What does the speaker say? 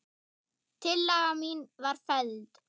Tillaga mín var felld.